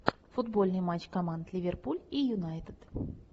футбольный матч команд ливерпуль и юнайтед